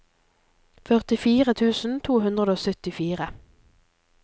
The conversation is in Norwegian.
førtifire tusen to hundre og syttifire